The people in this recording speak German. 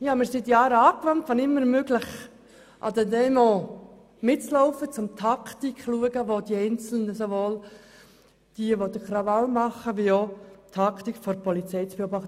Seit Jahren laufe ich wenn immer möglich an Demonstrationen mit, um die Taktik der Randalierenden und der Polizei zu beobachten.